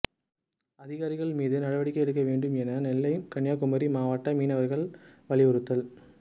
அதிகாரிகள் மீது நடவடிக்கை எடுக்க வேண்டும் என நெல்லை கன்னியாகுமரி மாவட்ட மீனவர்கள் வலியுறுத்தல்